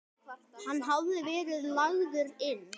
Hann hafði verið lagður inn.